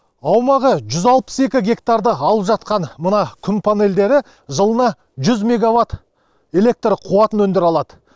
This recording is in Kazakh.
аумағы жүз алпыс екі гектарды алып жатқан мына күн панельдері жылына жүз мегаватт электр қуатын өндіре алады